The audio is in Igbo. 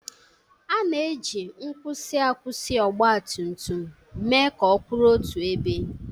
A na-eji nkwusi akwụsị ọgbatumtum mee ka ọ kwụrụ otu ebe.